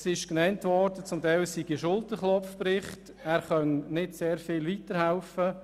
Es ist erwähnt worden, es sei zum Teil ein Schulterklopfbericht, er könne nicht sehr viel weiterhelfen.